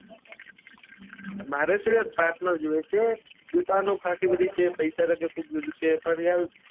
મારે શું યાર partner જોઈએ છે દુકાનો ખસી બધી છે પૈસા તકે ખુબ બધું છે પણ યાર.